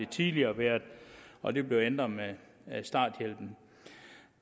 tidligere og det blev ændret med starthjælpen